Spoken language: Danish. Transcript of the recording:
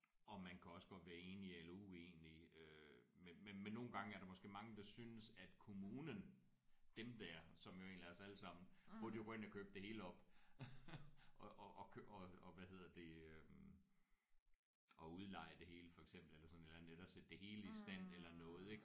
Og man kan også godt være enige eller uenige øh men men nogle gange er der måske mange der synes at kommunen dem der som egentlig er os alle sammen burde jo gå ind og købe det hele op og og og hvad hedder det øh og udleje det hele for eksempel eller sådan et eller andet eller sætte det i stand eller noget ik